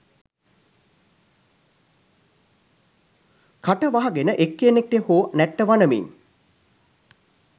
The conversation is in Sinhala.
කට වහගෙන එක්කෙනෙක්ට හෝ නැට්ට වනමින්